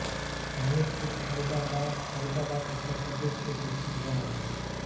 हमीरपुर फर्रुखाबाद फर्रुखाबाद उत्तर प्रदेश स्थित एक गाँव है